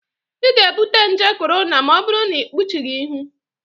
ị ga-ebute nje korona ma ọ bụrụ na ịkpuchighị ihu